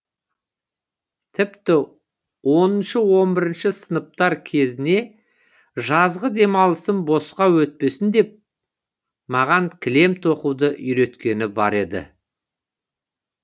тіпті оныншы он бірінші сыныптар кезіне жазғы демалысым босқа өтпесін деп маған кілем тоқуды үйреткені бар еді